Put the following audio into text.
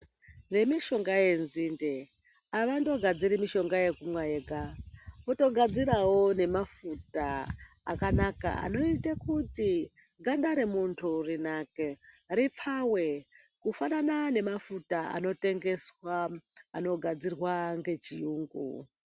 Vemishonga yenzinde avangogadziri mishonga yekumwa yega kutogadzirawo nemafuta akanaka anoita kuti ganda remuntu rinake ripfawe kufanana nemafuta anotengeswa anogadzirwa ngechiyungu.